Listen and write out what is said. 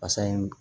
Fasa in